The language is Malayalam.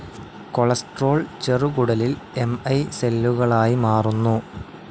കൊളെസ്റ്റെറോൾ ചെറുകുടലിൽ എം ഐ സെല്ലുകളായി മാറുന്നു.